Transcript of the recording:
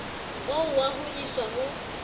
oo wa ho iswa ha